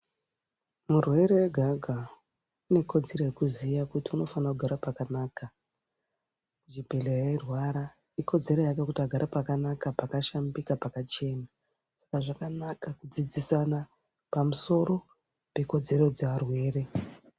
Murwere ega ega ane kodzero yekuziya kuti anekudzero yekuziya kuti anofanira kugara pakanaka muchibhehleya eyirwara ikodzero yake yekuti agare pakanaka pakashambika pakachena saka zvakanaka kudzidzisana pamusoro pekodzero yevarwere.